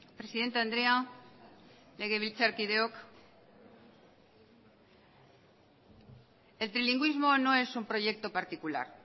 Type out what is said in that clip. presidente andrea legebiltzarkideok el trilingüismo no es un proyecto particular